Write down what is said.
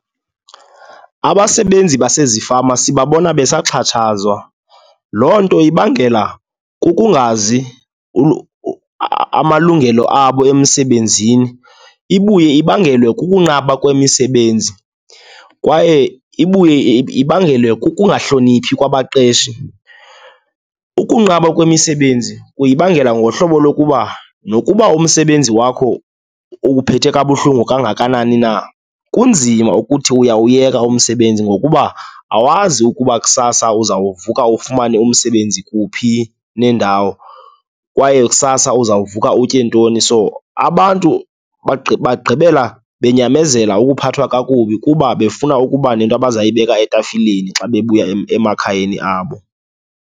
Abasebenzi basezifama sibabona besaxhatshazawa, loo nto ibangela kukungazi amalungelo abo emisebenzini, ibuye ibangelwe kukunqaba kwemisebenzi, kwaye ibuye ibangelwe kukungahloniphi kwabaqeshi. Ukunqaba kwemisebenzi kuyibangela ngohlobo lokuba, nokuba umsebenzi wakho ukuphethe kabuhlungu kangakanani na, kunzima ukuthi uyawuyeka umsebenzi ngokuba awazi ukuba kusasa uzawukuvuka ufumane umsebenzi kuphi nendawo kwaye kusasa uzawukuvuka utye ntoni. So, abantu bagqibela benyamezela ukuphathwa kakubi kuba befuna ukuba nento abazayipheka etafileni xa bebuya emakhayeni abo.